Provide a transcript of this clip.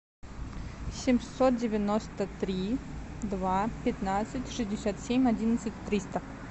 семьсот девяносто три два пятнадцать шестьдесят семь одиннадцать триста